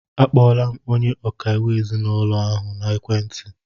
A kpọọla m onye ọkaiwu ezinaụlọ ahụ n'ekwentị.